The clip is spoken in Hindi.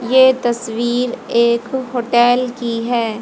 ये तस्वीर एक होटेल की है।